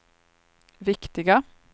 viktiga